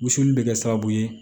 Wusuli in bɛ kɛ sababu ye